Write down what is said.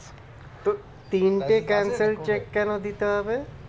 তো তিনটে cancelled cheque কেন দিতে হবে?